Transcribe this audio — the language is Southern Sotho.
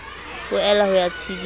o ela ho ya tshedisa